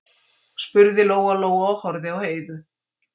spurði Lóa-Lóa og horfði á Heiðu.